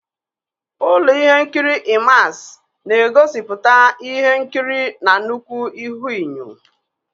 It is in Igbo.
Ụlọ ihe nkiri IMAX na-egosipụta ihe nkiri na nnukwu ihuenyo.